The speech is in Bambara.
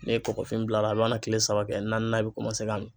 Ne ye kɔkɔfini bila a mana kile saba kɛ naaninan i bɛ kɔmanse ka min.